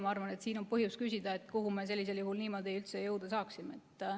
Ma arvan, et siin on põhjust küsida, kuhu me sellisel juhul niimoodi üldse jõuda saaksime.